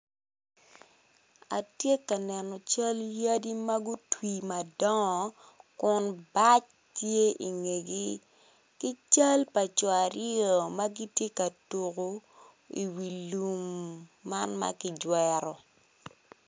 Atye ka neno yadi ma gutwi madongo kun bac tye i ngegi ki cal pa co aryo ma gitye ka tuku i wi lum man ki jwero.